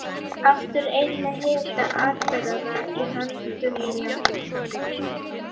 Aftur ein með hita atburðanna í höndum mínum.